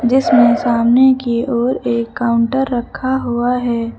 इसमें सामने की ओर एक काउंटर रखा हुआ है।